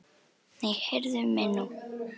Nei, heyrðu mig nú!